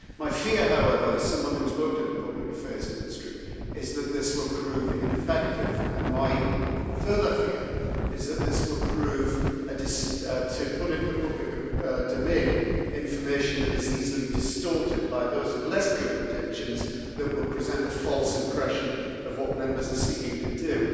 My fear, however, as someone who has worked in the public affairs industry, is that this will prove ineffective, and my further fear is that this will put into the public domain information that is easily distorted by those of less good intentions that will present a false impression of what Members are seeking to do.